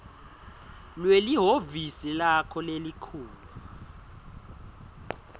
lwelihhovisi lakho lelikhulu